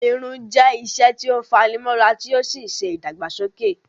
Irun jẹ́ iṣẹ́ tí ó fani mọ́ra tí ó sì ń ṣe ìdàgbàsókè